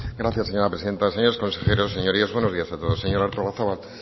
gracias señora presidenta señores consejeros señorías buenos días a todos señora artolazabal